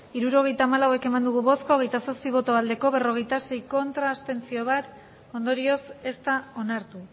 hirurogeita hamalau eman dugu bozka hogeita zazpi bai berrogeita sei ez bat abstentzio ondorioz ez da onartu